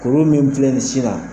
Kuru min filɛ nin ye sin na